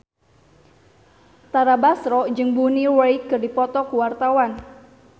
Tara Basro jeung Bonnie Wright keur dipoto ku wartawan